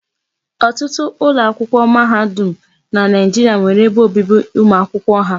Ọtụtụ ụlọakwụkwọ mahadum na Naijiria nwere ebe obibi ụmụ akwụkwọ.